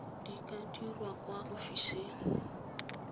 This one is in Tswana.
di ka dirwa kwa ofising